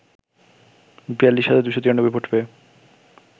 ৪২ হাজার ২৯৩ ভোট পেয়ে